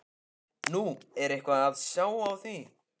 Nú, er eitthvað að sjá á því?